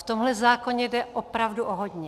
V tomhle zákoně jde opravdu o hodně.